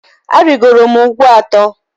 Arịgoro m ugwu atọ.